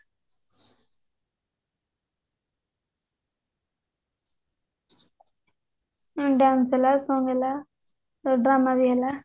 dance ହେଲା song ହେଲା drama ବି ହେଲା